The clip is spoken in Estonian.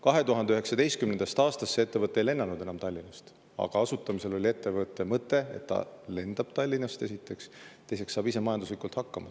2019. aastast see ettevõte ei lennanud enam Tallinnast, aga ettevõtte asutamisel oli mõte, et esiteks ta lendab Tallinnast ja teiseks saab ta ise majanduslikult hakkama.